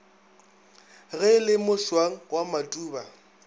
ge le mošwang wa matuba